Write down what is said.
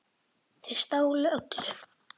Þeir stálu öllu.